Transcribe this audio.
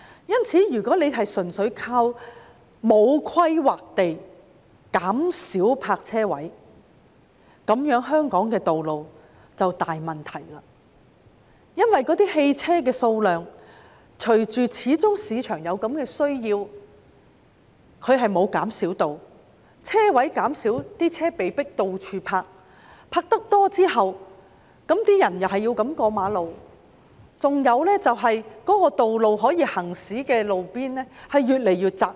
因此，如果單靠沒有規劃地減少泊車位，香港的道路便會出現很大問題，因為市場始終有此需求，汽車數量沒有減少，但泊車位減少，為數不少的車輛被迫四處停泊，市民又要橫過馬路，令可供行車的道路越來越窄。